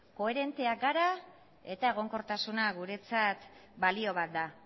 koherenteak gara eta egonkortasuna guretzat balio bat da